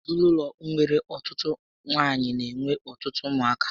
Ezinaụlọ nwere ọtụtụ nwaanyị n'enwe ọtụtụ ụmụ aka